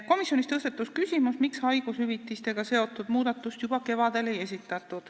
Komisjonis tõusetus küsimus, miks ei esitatud haigushüvitistega seotud muudatust juba kevadel.